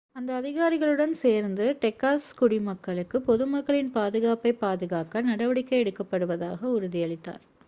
அந்த அதிகாரிகளுடன் சேர்ந்து டெக்சாஸ் குடிமக்களுக்கு பொதுமக்களின் பாதுகாப்பைப் பாதுகாக்க நடவடிக்கை எடுக்கப்படுவதாக உறுதியளித்தார்